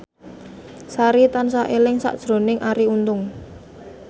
Sari tansah eling sakjroning Arie Untung